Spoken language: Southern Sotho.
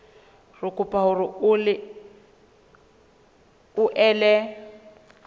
re kopa hore o ele